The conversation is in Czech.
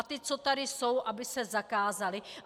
A ta, co tady jsou, aby se zakázala.